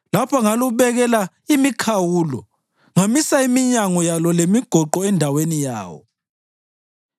lapho ngalubekela imikhawulo ngamisa iminyango yalo lemigoqo endaweni yayo,